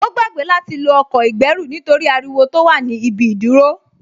Ó gbàgbé láti lo ọkọ̀ ìgbẹ́rù nítorí ariwo tó wà ní ibi ìdúró